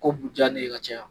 Ko bu ja ne ye ka caya.